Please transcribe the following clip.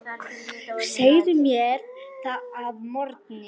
Segðu mér það að morgni.